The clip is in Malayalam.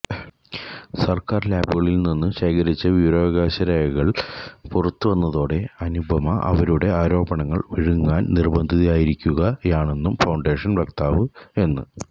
സര്ക്കാര് ലാബുകളില്നിന്ന് ശേഖരിച്ച വിവരാവകാശ രേഖകള് പുറത്തുവന്നതോടെ അനുപമ അവരുടെ ആരോപണങ്ങള് വിഴുങ്ങാന് നിര്ബന്ധിതയായിരിക്കുകയാണെന്നും ഫൌണ്ടേഷന് വക്താവ് എന്